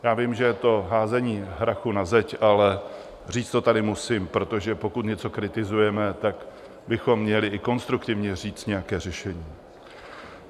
Já vím, že je to házení hrachu na teď, ale říct to tady musím, protože pokud něco kritizujeme, tak bychom měli i konstruktivně říct nějaké řešení.